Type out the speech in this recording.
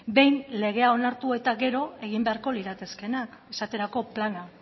behin legea onartu eta gero egin beharko liratekeenak esaterako plana